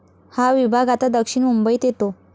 हा विभाग आता दक्षिण मुंबईत येतो.